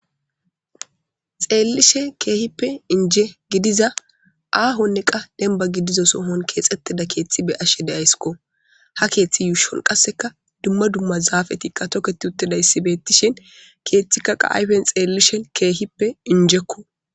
Xeellishin keehipe inje gidida ahone qa demiba gidizo soohoni kexetida keeththe be7ashe dayssiko. Ha kethe yushoni duma duma zafeti toket utidayisa betishe kethi ayifeni xelishin kehipe injeko.